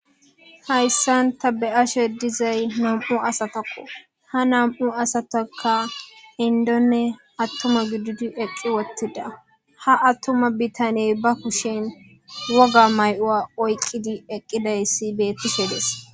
hayssan ta be7ashe dizay nam7u asatakko ha nam7u asataka indonne attuma giddidi eqqi wottida ha attuma bitanyey ba kushen woga may7oa oyqqidi eqqidayssi beettisedes